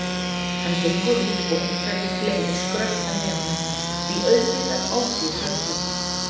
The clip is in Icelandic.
Hann gengur út og einhverjir fleiri skrölta með honum því auðvitað ofbýður öllum.